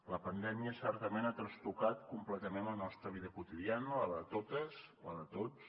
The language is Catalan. la pandèmia certament ha trastocat completament la nostra vida quotidiana la de totes la de tots